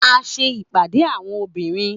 A n ṣe ipade awọn obinrin